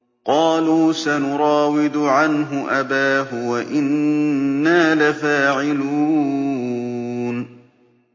قَالُوا سَنُرَاوِدُ عَنْهُ أَبَاهُ وَإِنَّا لَفَاعِلُونَ